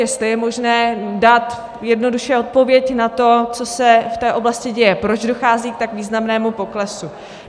Jestli je možné dát jednoduše odpověď na to, co se v té oblasti děje, proč dochází k tak významnému poklesu.